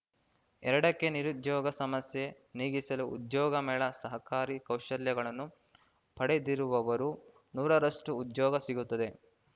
ಎರಡಕ್ಕೆನಿರುದ್ಯೋಗ ಸಮಸ್ಯೆ ನೀಗಿಸಲು ಉದ್ಯೋಗ ಮೇಳ ಸಹಕಾರಿ ಕೌಶಲ್ಯಗಳನ್ನು ಪಡೆದಿರುವವರು ನೂರರಷ್ಟುಉದ್ಯೋಗ ಸಿಗುತ್ತೆ